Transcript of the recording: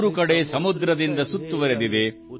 ಮೂರು ಕಡೆ ಸಮುದ್ರದಿಂದ ಸುತ್ತುರಿದಿದೆ